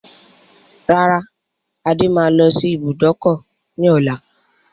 Rárá, Adé máa lọ sí ibùdókọ̀ ni ọ̀la.